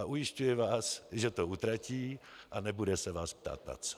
A ujišťuji vás, že to utratí a nebude se vás ptát na co.